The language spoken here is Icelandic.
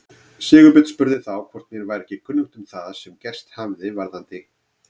Sigurbjörn spurði þá hvort mér væri ekki kunnugt um það sem gerst hefði varðandi